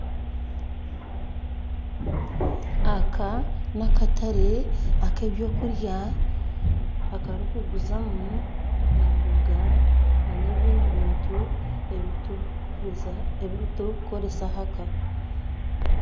Aka n'akatare ak'ebyokurya akarukuguzamu emboga n'ebindi bintu ebiturukukoresa ahaka.